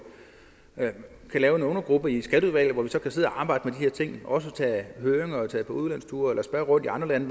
lave en undergruppe i skatteudvalget hvor vi kan sidde og arbejde med de her ting og også have høringer og tage på udlandsture eller spørge rundt i andre lande